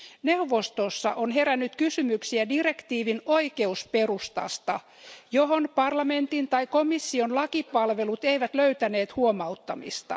Neuvostossa on herännyt kysymyksiä direktiivin oikeusperustasta, johon parlamentin tai komission lakipalvelut eivät löytäneet huomauttamista.